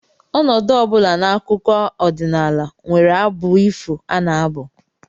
Ọnọdụ ọ bụla n'akụkọ ọdịnala nwere abụ ifo a na-abụ